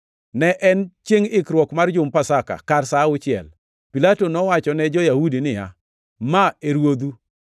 Ne en chiengʼ ikruok mar jumb Pasaka, kar sa auchiel. Pilato nowachone jo-Yahudi niya, “Ma e Ruodhu!”